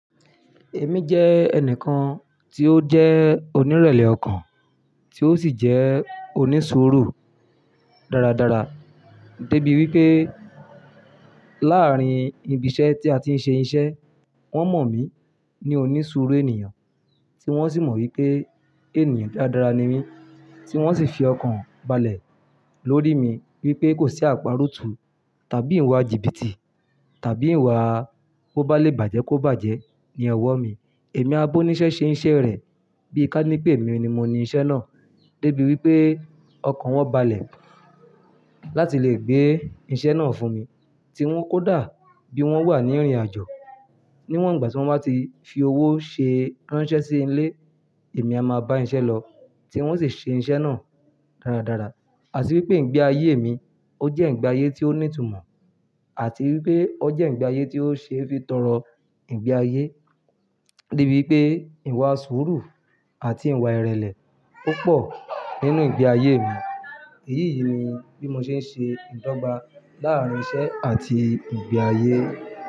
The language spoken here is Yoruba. Èmi jẹ́ ẹnìkan tí ó jẹ́ onírẹ̀lẹ̀ ọkàn, tí ó sì jẹ́ onísùúrù dáradára, débi wípé láàárín ibi iṣẹ́ tí a ti ń ṣe iṣẹ́, wón mọ̀ mí ní onísùúrù ènìyàn, tí wón sì mọ̀ wípé ènìyàn dáradára ni mí, tí wón sì fi ọkàn balẹ̀ lórí mi wípé kò sí àparótú tàbí ìwà jìbìtì tàbí ìwà bó bá lè bàjẹ́ kó bàjẹ́ ní ọwọ́ mi. Èmi a bó níṣẹ́ ṣe iṣẹ́ rẹ̀ bí i kánnípè mi ni mo ní iṣẹ́ náà, débi wípé ọkàn wọn balẹ̀ láti lè gbé iṣẹ́ náà fún mi, tí wón kó dà bí wón wà ní ìrìnàjò. Níwọ̀n ìgbà tí wón bá ti fi owó ṣe ránṣẹ́ sí ilé, èmi a máa bá iṣẹ́ lọ, tí wón sì ṣe iṣẹ́ náà dáradára. Àti wípé ìgbé ayé mi ó jẹ́ ìgbé ayé tí ó ní ìtumọ̀, àti wípé ó jẹ́ ìgbé ayé tí ó ṣe é fi tọrọ ìgbé ayé. Débi wípé ìwà sùúrù àti ìwà ìrẹ̀lẹ̀ o pọ̀ nínú ìgbé ayé mi. Èyí yìí ni bí mo ṣe ń ṣe ìdọ́gba láàrín iṣẹ́ àti ìgbé ayé.